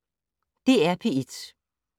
DR P1